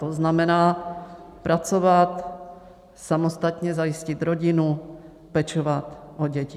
To znamená pracovat, samostatně zajistit rodinu, pečovat o děti.